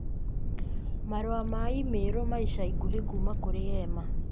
Marũa ma i-mīrū ma ica ikuhĩ kuuma kũrĩ Emma